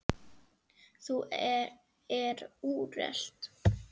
Það er úrelt.